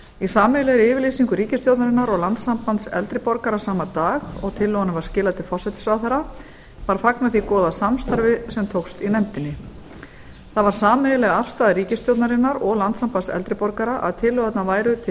í sameiginlegri yfirlýsingu ríkisstjórnarinnar og landssambands eldri borgara sama dag og tillögunni var skilað til forsætisráðherra var fagnað því góða samstarfi sem tókst í nefndinni það var sameiginleg afstaða ríkisstjórnarinnar og landssambands eldri borgara að tillögurnar væru til